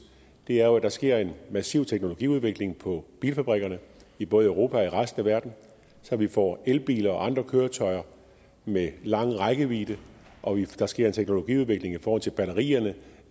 er jo at der sker en massiv teknologiudvikling på bilfabrikkerne i både europa og resten af verden så vi får elbiler og andre køretøjer med lang rækkevidde og at der sker en teknologiudvikling i forhold til batterierne